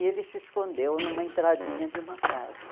E ele se escondeu numa entradinha de uma casa.